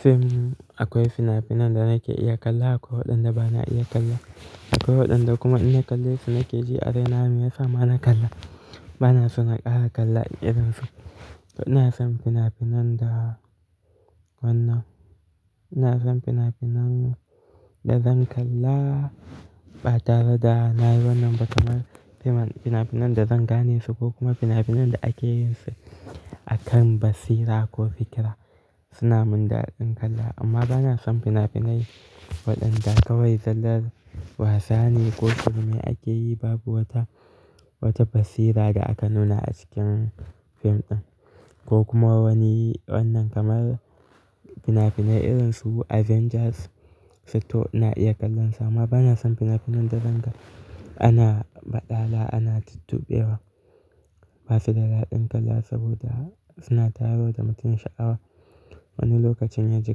Fim, akwai fina-finan da nake iya kalla akwai waɗanda bana iya kalla. Akwai waɗanda kuma in na kalle su na ke ji a raina me ya sa ma na kalla. Bana so na ƙara kallon irin su. To ina son fina-finan da wannan, ina son fina-finan da zan kalla ba tare da na yi wannan ba kamar fim fina-finan da zan gane su ko kuma fina-finan da ake yin su akan basira ko fikira suna mun daɗin kalla amma bana son fina-finai waɗanda kawai zallar wasa ne ko shirme ake yi babu wata, wata basira da aka nuna a cikin fim ɗin ko kuma wani wannan kamar fina-finai irin su Avengers 6 to na iya kallon su amma bana son fina-finan da zan ga ana ba ɗala ana tuttuɓewa. Ba su da daɗin kalla, saboda suna tayar wa da mutum sha'awa. Wani lokacin yaji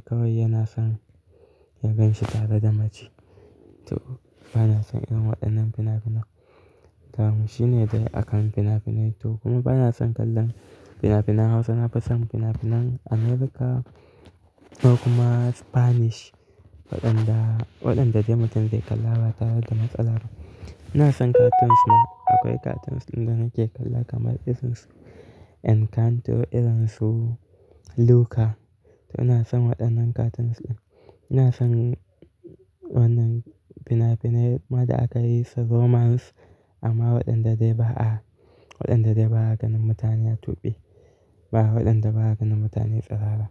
kawai yana son ya ganshi tare da mace. To, bana son irin waɗannan fina-finai. Ko kuma wani wannan kamar fina-finai irin su Avengers su to ina iya kallon su amma bana son fina-finan da zan ga ana ba ɗala ana tuttuɓewa. Waɗanda, waɗanda dai mutum zai kalla ba tare da matsala ba. Ina son Cartoons ma akwai cartoons da nake kalla kamar irin su Encanto irin su Luca. To ina son waɗannan cartoons ɗin. Ina son wannan fina-finai ma da aka yi su Romance amma waɗanda dai ba'a, waɗanda dai ba a ganin mutane a tuɓe, ba waɗanda ba a ganin mutane tsirara.